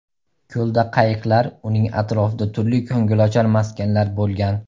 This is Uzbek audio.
Ko‘lda qayiqlar, uning atrofida turli ko‘ngilochar maskanlar bo‘lgan.